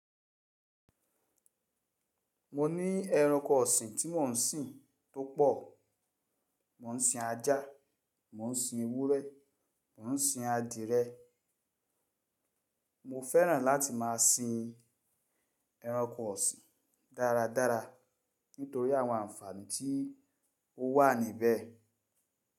Mo ní ẹranko ọ̀sìn tí mò ń sìn tó pọ̀. Mò ń sin ajá, mò ń sin ewúrẹ́, mò ń sin adìẹ. Mo fẹ́ràn láti máa sin ẹranko ọ̀sìn dáradára nítorí àwọn àǹfààní tí ó wà níbẹ̀.